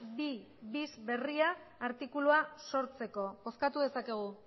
bi bis berria artikulua sortzeko bozkatu dezakegu